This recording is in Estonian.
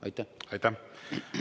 Aitäh!